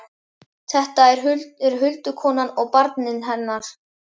Þetta eru huldukonan og barnið hennar!